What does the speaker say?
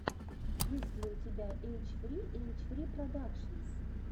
есть ли у тебя эйч фри эйч фри продакшенс